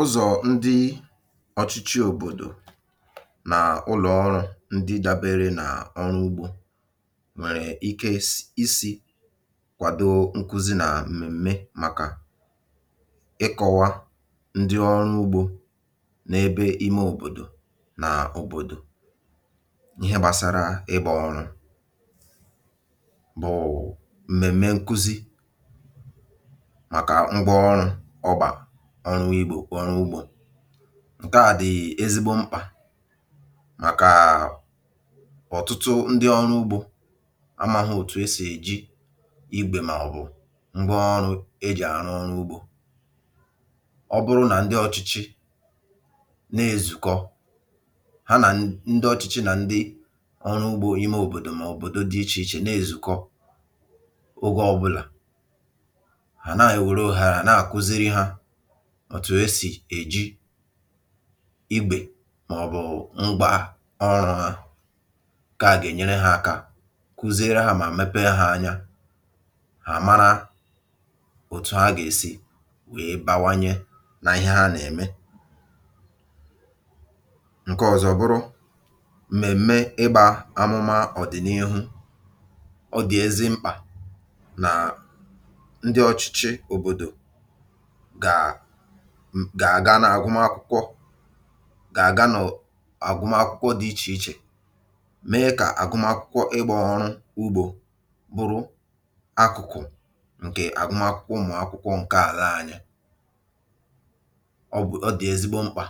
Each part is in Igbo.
Ụzọ̀ ndị ọ̀chịchị òbòdò nà ụlọ̀ ọrụ̇ ndị dabeere nà ọrụ ugbȯ nwèrè ike isi̇ kwàdo nkụzi nà m̀mèm̀me màkà ịkọ̇wa ndị ọrụ ugbȯ n’ebe ime òbòdò nà òbòdò ihe gbasara ịbà ọrụ̇ bụ̀ m̀mèm̀me nkụzi maka ngwa ọrụ ọgba ọri ugbo ọrụ ugbȯ. Nkaà dị̀ ezigbo mkpà màkà ọ̀tụtụ ndị ọrụ ugbȯ amȧghị̇ òtù e sì èji igbè mà ọ̀ bụ̀ ngwa ọrụ e jì àrụ ọrụ ugbȯ. Ọ bụrụ nà ndị ọ̇chịchị na-èzùkọ ha nà ndị ọ̇chịchị nà ndị ọrụ ugbȯ ime òbòdò mà obòdò dị ichè ichè na-èzùkọ ogė ọbụlà, ha na-ewere ohere a na-akụziri ha òtù esì èji igbè mà ọ̀bụ̀ ngwa ọrụ̇ hȧ, ka à gà-ènyere hȧ aka kụziere hȧ mà mepe ha anya, ha àmara òtù ha gà-èsì wèe bawanye nà ihe ha nà-ème. Nke ọ̀zọ bụrụ m̀mèm̀me ịgbà amụma ọ̀dị̀nihu. Ọ dị̀ ezi mkpà nà ndị ọchịchị òbòdò gà-àga n’àgụmakwụkwọ gà-àga n’ọ̀ agụmakwụkwọ dị̇ ichè ichè mee kà àgụmakwụkwọ ịgbȧ ọrụ ugbȯ bụrụ akụ̀kụ̀ ǹkè àgụmakwụkwọ ụmụ̀akwụkwọ ǹke àlà anyị. Ọ bụ̀ ọ dị̀ ezigbo mkpà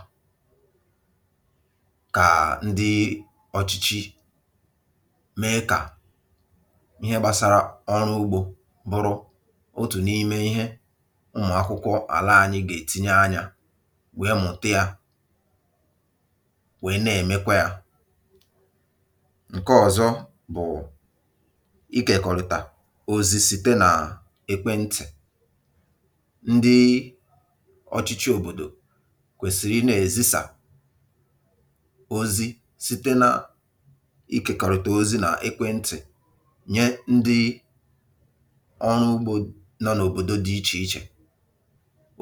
kà ndị ọ̀chịchị mee kà ihe gbasara ọrụ ugbȯ bụrụ otù n’ime ihe ụmụ akwụkwọ ala anyị ga-etinye anya wèe mụ̀tịa, wèe na-èmekwa yȧ. Nke ọ̀zọ bụ̀ ikėkọ̀rị̀tà òzì site nà ekwentị. Ndị ọ̇chịchị òbòdò kwèsịrị ịnȧ-èzisà ozi site na ikèkọrịtà ozi nà ekwentị nye ndị ọrụ ugbò dị nà òbòdò dị ichè ichè.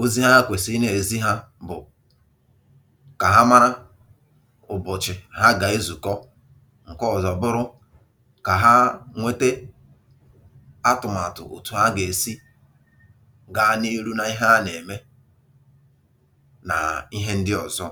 Ozi ha kwesịrị ịna-ezi ha bụ kà ha mara ụ̀bọ̀chị̀ ha gà-ezukọ, ǹke ọ̀zọ̀ bụrụ kà ha nwete atụ̀màtụ̀ òtù ha gà-esi gaa n’ihu na ihe ha nà-ème nà ihe ndị ọ̀zọ.